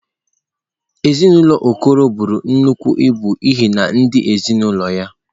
Ezinụlọ Okoro buru nnukwu ibu n’ihi ndị ezinaụlọ ya.